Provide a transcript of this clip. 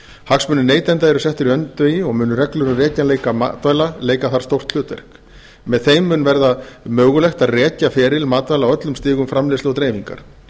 hagsmunir neytenda eru settir í öndvegi og munu reglur um rekjanleika matvæla leika þar stórt hlutverk með þeim mun verða mögulegt að rekja feril matvæla á öllum stigum framleiðslu og dreifingar